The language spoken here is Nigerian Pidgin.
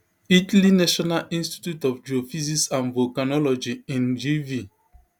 italy national institute of geophysics and volcanology ingv